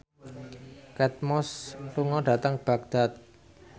Kate Moss lunga dhateng Baghdad